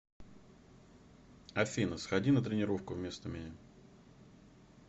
афина сходи на тренировку вместо меня